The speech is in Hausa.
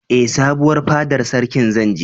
Ee, sabuwar fadar sarkin zan je.